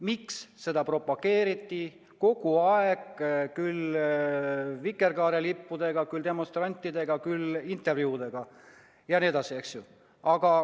Miks seda kogu aeg propageeriti, küll vikerkaarelippudega, küll demonstrantidega, küll intervjuudega?